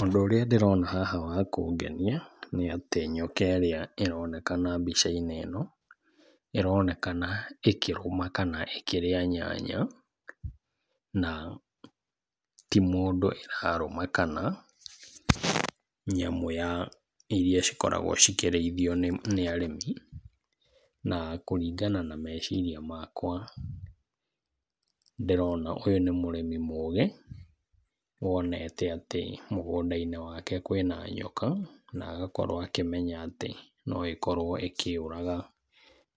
Ũndũ ũrĩa ndĩrona haha wa kũngenia, nĩ atĩ nyokerĩa ĩronekana mbica-inĩ ĩno, ĩronekana ĩkĩrũma kana ĩkĩrĩa nyanya na ti mũndũ ĩrarũma kana nyamũ ya, iria cikoragwo cikĩrĩithio nĩ, nĩ arĩmi. Na kũringana na meciiria makwa ndĩrona ũyũ nĩ mũrĩmi mũgi wonete atĩ mũgũnda-inĩ wake kwĩna nyoka na agakorwo akĩmenya atĩ no ĩkorwo ĩkĩũraga